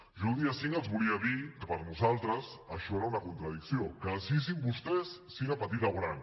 jo el dia cinc els volia dir que per nosaltres això era una contradicció que decidissin vostès si era petita o gran